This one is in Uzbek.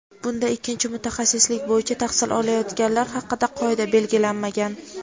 Bunda ikkinchi mutaxassislik bo‘yicha tahsil olayotganlar haqida qoida belgilanmagan.